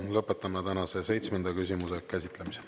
Lõpetan tänase seitsmenda küsimuse käsitlemise.